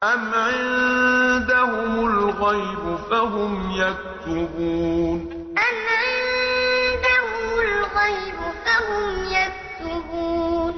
أَمْ عِندَهُمُ الْغَيْبُ فَهُمْ يَكْتُبُونَ أَمْ عِندَهُمُ الْغَيْبُ فَهُمْ يَكْتُبُونَ